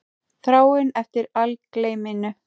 Þráin eftir algleyminu.